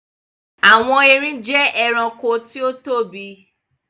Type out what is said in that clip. Àwọn erin jẹ́ ẹranko tí ó tóbi.